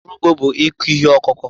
Ọrụ ugbo bụ ịkụ ihe ọkụkụ